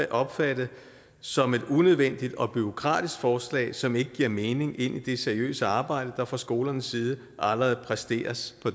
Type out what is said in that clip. opfattet som et unødvendigt og bureaukratisk forslag som ikke giver mening ind i det seriøse arbejde der fra skolens side allerede præsteres på